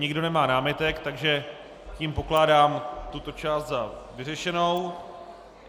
Nikdo nemá námitek, takže tím pokládám tuto část za vyřešenou.